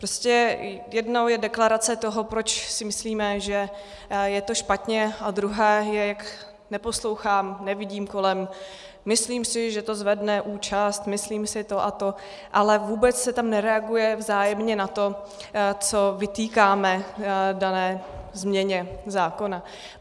Prostě jednou je deklarace toho, proč si myslíme, že je to špatně, a druhá je, jak neposlouchám, nevidím kolem, myslím si, že to zvedne účast, myslím si to a to, ale vůbec se tam nereaguje vzájemně na to, co vytýkáme dané změně zákona.